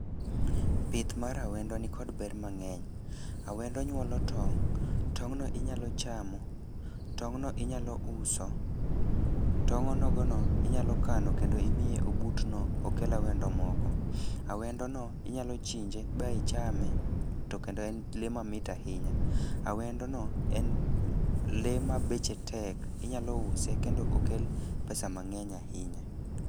Pith mar awendo nikod ber mang'eny. Awendo nyuolo tong', tong'no inyalo chamo, tong'no inyalo uso, tong' onogono inyalo kano kendo imiye obutno okel awendo moko. A wendono inyalo chinje ba ichame to kendo en lee mamit ahinya, awendono en lee ma beche tek inyalo use kendo okel pesa mang'eny ahinya.